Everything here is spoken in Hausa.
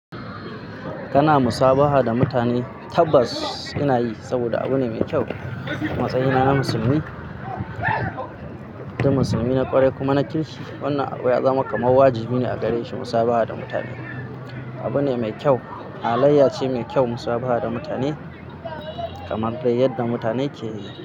Kana musabaha da mutane tabbas ina yi saboda abu ne mai kyau. A matsayina na musulmi, musulmi na ƙwarai kuma na kirki, wannan abu ya zama kamar wajibi ne a gare shi musabaha da mutane. Abu ne mai kyau, halayya ce mai kyau musabaha da mutane kamar dai yadda mutane ke yi.